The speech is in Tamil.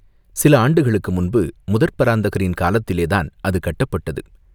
சில ஆண்டுகளுக்கு முன்பு, முதற் பராந்தகரின் காலத்திலேதான் அது கட்டப்பட்டது.